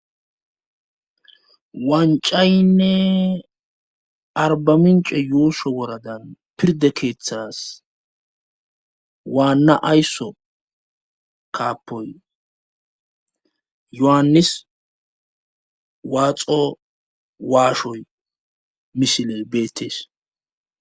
wancaynne arbamince yuusho woradan pirde keeththas waanna ayso kaappoy yohannis waaxo waashoy misiley beettees